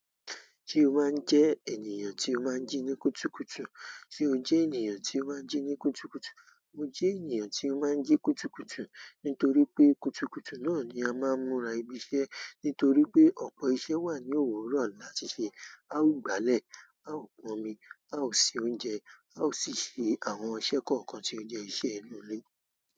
Ṣé o máa ń jẹ́ ènìyàn tí ó máa ń jí ní kútùkùtù? Sé o jẹ́ ènìyàn tí ó máa ń jí ní kútùkùtù? Mo jẹ́ ènìyàn tí ó máa ń jí kútùkùtù, nítorí pé kútùkùtù náà ni a máa ń múra ibi iṣẹ́. Nítorí pé ọ̀pọ̀ iṣẹ́ wà ní òwúrọ̀ láti ṣe. A ó gbálẹ̀, a ó pọn omi, a ó ṣe oúnjẹ, a ó sì ṣe àwọn iṣẹ́ kọ̀ọ̀kan tí ó jẹ́ iṣẹ́ inú ilé.